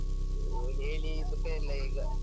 ಅದು ಹೇಳಿ ಸುಖ ಇಲ್ಲ ಈಗ.